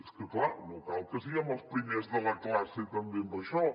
és que clar no cal que siguem els primers de la classe també en això